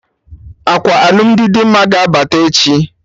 Akwa alụmdi Dimma ga-abata echi